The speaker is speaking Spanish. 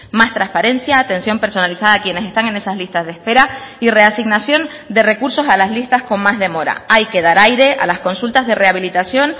más transparencia atención personalizada a quienes están en esas listas de espera y reasignación de recursos a las listas con más demora hay que dar aire a las consultas de rehabilitación